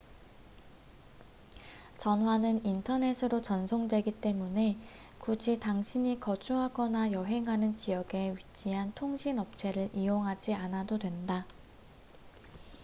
전화는 인터넷으로 전송되기 때문에 굳이 당신이 거주하거나 여행하는 지역에 위치한 통신 업체를 이용하지 않아도 된다